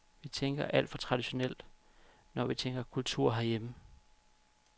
Vi tænker alt for traditionelt, når vi tænker kultur herhjemme.